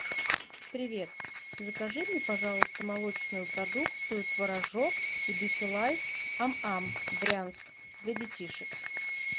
привет закажи мне пожалуйста молочную продукцию творожок и бифилайф ам ам брянск для детишек